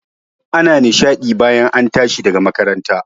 Ana nishaɗi bayan an tashi daga makaranta